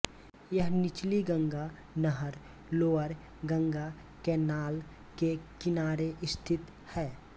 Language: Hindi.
यह निचली गंगा नहर लोअर गंगा कैनाल के किनारे स्थित है